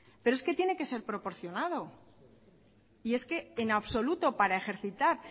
pero es que tiene que ser proporcionado y es que en absoluto para ejercitar